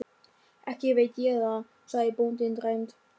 Ekki veit ég það, sagði bóndinn dræmt.